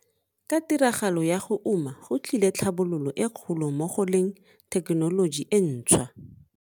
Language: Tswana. Ka tiragalo ya go uma go tlile tlhabololo e kgolo mo go leng thekenoloji e ntshwa.